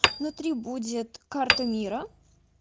внутри будет карта мира